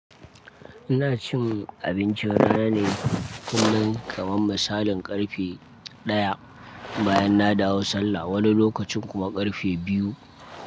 Ina cin abinci rana ne kullum kaman masalin karfe daya bayan na dawo Sallah, wani lokacin kuma karfe biyu.